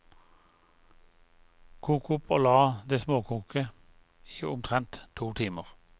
Kok opp og la det småkoke i omtrent to timer.